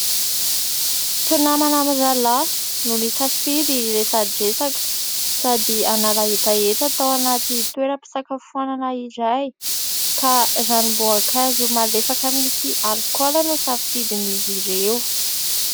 Mpinamana mirahalahy no nisafidy hiresadresaka sady hanala hetaheta tao anaty toeram-pisakafoanana iray ka ranom-boankazo malefaka misy alikaola no safidiny izy ireo.